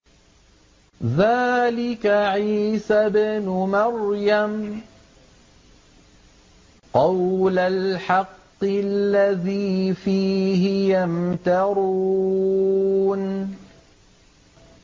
ذَٰلِكَ عِيسَى ابْنُ مَرْيَمَ ۚ قَوْلَ الْحَقِّ الَّذِي فِيهِ يَمْتَرُونَ